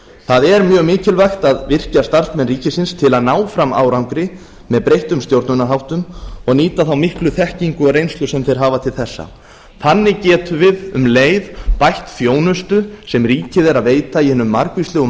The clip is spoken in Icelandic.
það er mjög mikilvægt að virkja starfsmenn ríkisins til að ná fram árangri með breyttum stjórnunarháttum og nýta þá miklu þekkingu og reynslu sem þeir hafa til þessa þannig getum við um leið bætt þjónustu sem ríkið er að veita í hinum margvíslegu